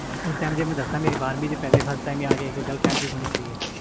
ਉਸ time ਮੈਂ ਦਸਾਂ ਗਿਆਰਵੀ ਵਿਚ ਆ ਕੇ ਮੇਰੀ ਇਕ girlfriend ਵੀ ਬਾਣੀ ਸੀ